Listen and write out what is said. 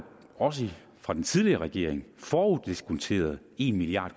også fra den tidligere regering foruddiskonteret en milliard